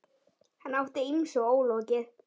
Hann átti ýmsu ólokið.